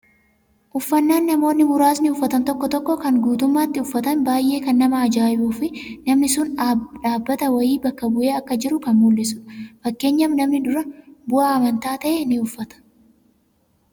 Uffannaan namoonni muraasni uffatan tokko tokko kan guutummaatti uffatan baay'ee kan nama ajaa'ibuu fi namni sun dhaabbata wayii bakka bu'ee akka jiru kan mul'isudha. Fakkeenyaaf namni dura bu'aa amantaa ta'e ni uffata.